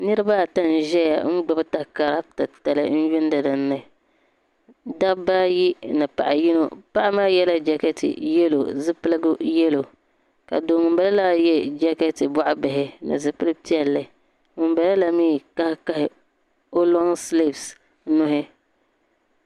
Niriba ata n ʒɛya n gbibi takara titali n yuuni dinni dabba ayi ni paɣa yino paɣmaa yela jakati yelo zipiligu yelo ka do ŋunbala mee jeketi boɣa bihi ni zipil'piɛlli ŋunbalala mee kahikahi o lonsilifi nuhi.